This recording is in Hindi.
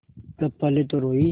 तब पहले तो रोयी